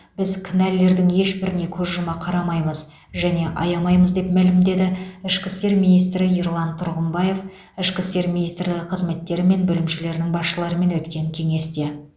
біз кінәлілердің ешбіріне көз жұма қарамаймыз және аямаймыз деп мәлімдеді ішкі істер министрі ерлан тұрғымбаев ішкі істер министрлігінің қызметтері мен бөлімшелерінің басшыларымен өткен кеңесте